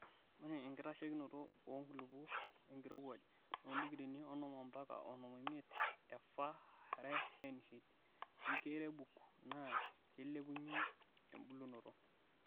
ore enkitasheikinoto oo nkulupuok wenkirowuaj (too ndikireeni onom ompakaa onom omiet e fahrenheit) weenkirebuk naa keilepunyie embulunoto.